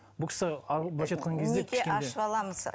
бұл кісі былайша айтқан кезде кішкене